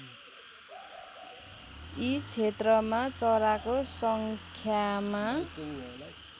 यी क्षेत्रमा चराको सङ्ख्यामा